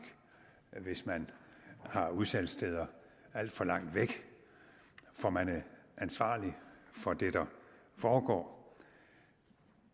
hvis man har udsalgssteder alt for langt væk for man er ansvarlig for det der foregår